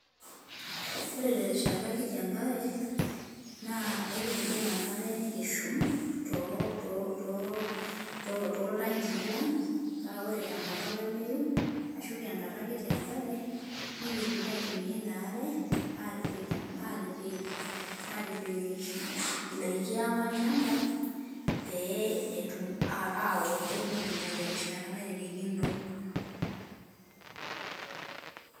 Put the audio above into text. Ore terishata kiti enkare, na ekibung enkare nikishum to to toltanki lang, paaore tenkata olameyu, ashu tenkata kiti enkare nikitum aitumia ina are atipik atik atipik indaiki ang olchamba, pee etum aoto nikinyia terishata naririkino.